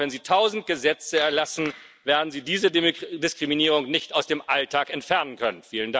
Und auch, wenn Sie tausend Gesetze erlassen, werden Sie diese Diskriminierung nicht aus dem Alltag entfernen können.